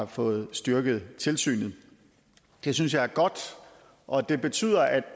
fået styrket tilsynet det synes jeg er godt og det betyder at